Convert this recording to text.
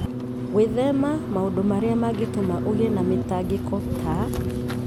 Gwĩthema maũndũ marĩa mangĩtũma ũgĩe na mĩtangĩko ta